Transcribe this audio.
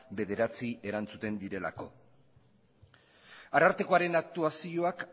bederatzi erantzuten direlako arartekoaren aktuazioak